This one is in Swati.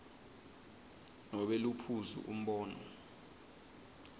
nobe liphuzu umbono